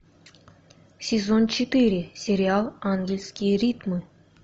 сезон четыре сериал ангельские ритмы